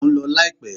Mo ń lọ láìpẹ́.